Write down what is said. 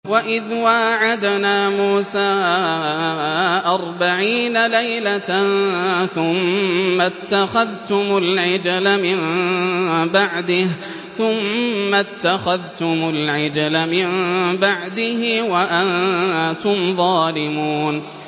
وَإِذْ وَاعَدْنَا مُوسَىٰ أَرْبَعِينَ لَيْلَةً ثُمَّ اتَّخَذْتُمُ الْعِجْلَ مِن بَعْدِهِ وَأَنتُمْ ظَالِمُونَ